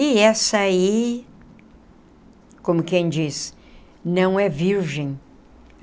E essa aí, como quem diz, não é virgem.